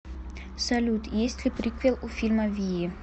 салют есть ли приквел у фильма вии